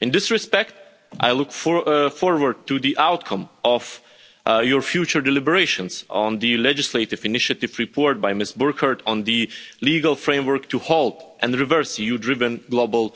In this respect I look forward to the outcome of your future deliberations on the legislative initiative report by Ms Burkhardt, on the legal framework to halt and reverse EU-driven global